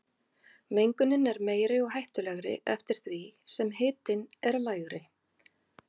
Mengunin er meiri og hættulegri eftir því sem hitinn er lægri.